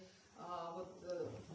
а вот